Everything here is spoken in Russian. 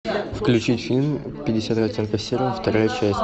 включи фильм пятьдесят оттенков серого вторая часть